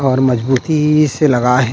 और मजबूती से लगये हे